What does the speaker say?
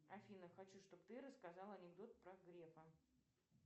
афина хочу чтобы ты рассказала анекдот про грефа